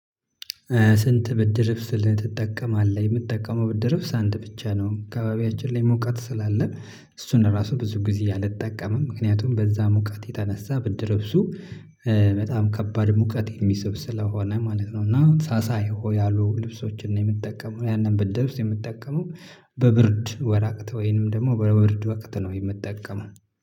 ስንት? ብርድልብስ ትጠቀማለህ የምትጠቀመው ብርድልብስ አንድ ብቻ ነው አካባቢያችን ላይ ሙቀት ስላለ እሱን ራሱ ብዙ ጊዜ አልጠቀምም ምክንያቱም በዛ ሙቀት የተነሳ ብርድልብሱ በጣም ከባድ ሙቀት የሚስብ ስለሆነ ማለት ነው። እና ሳሳ ያሉ ልብሶችን ነው የምጠቀመው ያንን ብርድልብስ የምጠቀመው በብርድ ወራቅት ወይንም ደግሞ በብርድ ወቅት ነው የምንጠቀመው